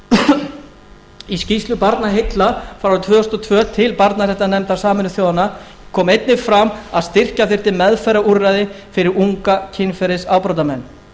íslandi í skýrslu barnaheilla frá árinu tvö þúsund og tvö til barnaverndarnefndar sameinuðu þjóðanna kom einnig fram að styrkja þyrfti meðferðarúrræði fyrir unga kynferðisafbrotamenn